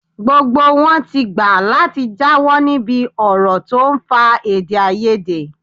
Gbogbo wọn ti gbà láti jáwọ́ níbi ọ̀rọ̀ tó ń fa èdè-áiyedé.